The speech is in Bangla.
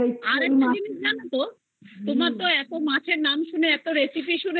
আরেকটা জিনিস জানো তো আমি তো এত মাছের নাম শুনে এত recipe শুনে আমার